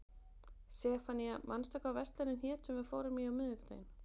Sefanía, manstu hvað verslunin hét sem við fórum í á miðvikudaginn?